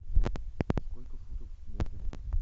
сколько футов в метре